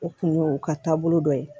O kun ye o ka taabolo dɔ ye